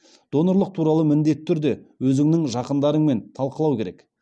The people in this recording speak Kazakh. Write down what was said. донорлық туралы міндетті түрде өзіңнің жақындарыңмен талқылау керек